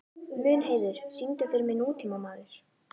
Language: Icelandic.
Mundheiður, syngdu fyrir mig „Nútímamaður“.